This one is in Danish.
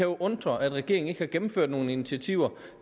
undre at regeringen ikke har gennemført nogen initiativer